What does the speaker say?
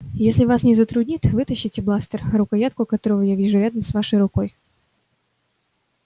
если вас не затруднит вытащите бластер рукоятку которого я вижу рядом с вашей рукой